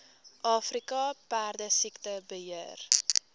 afrika perdesiekte beheer